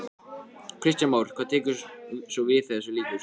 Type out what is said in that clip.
Kristján Már: Hvað tekur svo við þegar þessu lýkur?